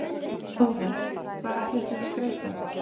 Þóra: Hvar ætlið þið að skreyta?